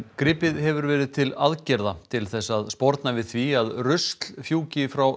gripið hefur verið til aðgerða til þess að sporna við því að rusl fjúki frá